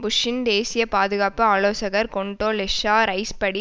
புஷ்ஷின் தேசிய பாதுகாப்பு ஆலோசகர் கொண்டோலெஸ்ஸா ரைஸ் படி